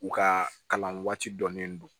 U ka kalan waati dɔnnen don